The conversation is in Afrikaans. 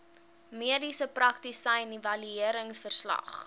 mediese praktisyn evalueringsverslag